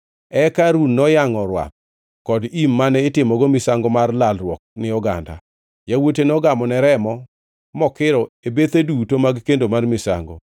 Eka Harun noyangʼo rwath kod im mane itimogo misango mar lalruok ni oganda. Yawuote nogamone remo mokiro e bethe duto mag kendo mar misango.